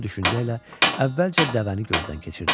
Bu düşüncə ilə əvvəlcə dəvəni gözdən keçirdi.